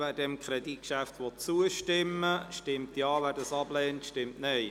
Wer dem Kreditgeschäft zustimmen will, stimmt Ja, wer dies ablehnt, stimmt Nein.